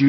দিন